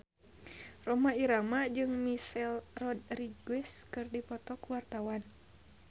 Rhoma Irama jeung Michelle Rodriguez keur dipoto ku wartawan